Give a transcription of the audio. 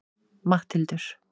Matthildur